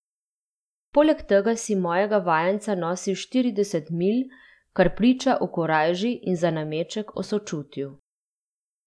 Poleg tega si mojega vajenca nosil štirideset milj, kar priča o korajži in za nameček o sočutju.